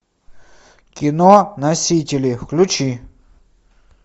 кино носители включи